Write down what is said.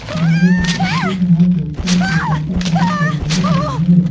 सामने छोटी-छोटी घां सोककर छोटा सा पार्क बनाया गया है।